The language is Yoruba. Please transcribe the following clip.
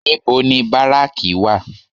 Níbo ni báráàkì wà?